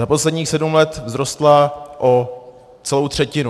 Za posledních sedm let vzrostla o celou třetinu.